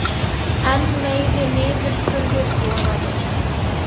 Enn meiri niðurskurður boðaður